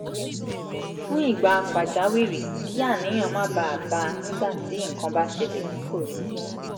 fún ìgbà pàjáwìrì kí àníyàn má bàa bá a nígbà tí nǹkan bá ṣẹlẹ̀ tí kò retí